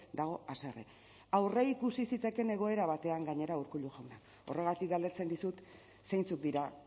dago haserre aurreikusi zitekeen egoera batean gainera urkullu jauna horregatik galdetzen dizut zeintzuk dira